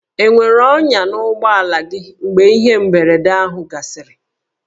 E nwere ọnyà n'ụgbọala gị mgbe ihe mberede ahụ gasịrị?